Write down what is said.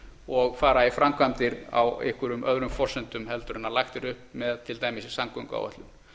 og fara í framkvæmdir á einhverjum öðrum forsendum heldur en lagt er upp með til dæmis í samgönguáætlun